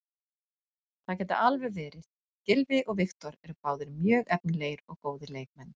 Það gæti alveg verið, Gylfi og Viktor eru báðir mjög efnilegir og góðir leikmenn.